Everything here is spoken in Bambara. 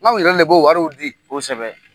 K'anw yɛrɛ le b'o wariw di. Kosɛbɛ.